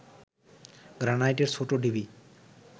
গ্রানাইটের ছোট ঢিবি